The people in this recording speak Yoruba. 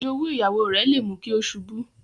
Ijowu Ìyàwó rẹ̀ lè mú kí ó ṣubú